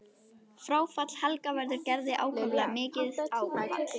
Fráfall Helga verður Gerði ákaflega mikið áfall.